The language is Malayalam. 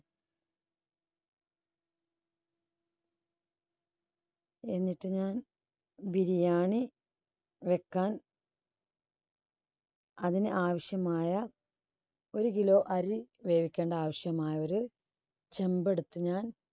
എന്നിട്ട് ഞാൻ biriyani വെക്കാൻ അതിന് ആവശ്യമായ ഒരു kilo അരി വേവിക്കേണ്ട ആവശ്യമായ ഒരു ചെമ്പെടുത്തു ഞാൻ